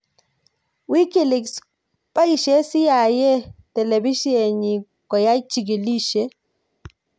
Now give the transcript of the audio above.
Wikileaks: boishe CIA telebisyenit koyai chikilisyet